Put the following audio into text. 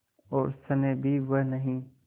और स्नेह भी वह नहीं